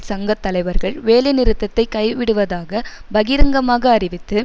சங்க தலைவர்கள் வேலை நிறுத்தத்தை கைவிடுவதாக பகிரங்கமாக அறிவித்து